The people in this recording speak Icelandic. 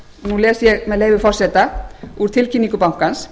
nú les ég með leyfi forseta úr tilkynningu bankans